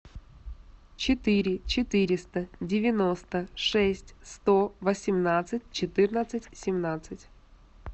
четыре четыреста девяносто шесть сто восемнадцать четырнадцать семнадцать